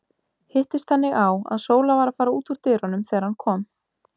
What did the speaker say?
Hittist þannig á, að Sóla var að fara út úr dyrunum þegar hann kom.